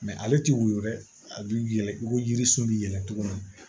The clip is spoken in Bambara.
ale ti woyo dɛ a bi yɛlɛ i ko yirisun belɛw